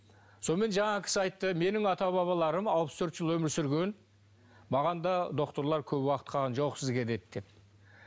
сонымен жаңағы кісі айтты менің ата бабаларым алпыс төрт жыл өмір сүрген маған да докторлар көп уақыт қалған жоқ сізге деді деп